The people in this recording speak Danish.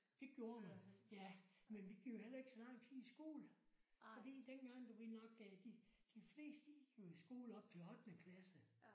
Det gjorde vi ja. Men vi gik jo heller ikke så lang tid i skole. Fordi dengang du ved nok de de fleste gik jo i skole op til ottende klasse